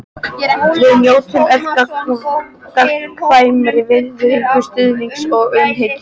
Við njótum öll gagnkvæmrar virðingar, stuðnings og umhyggju.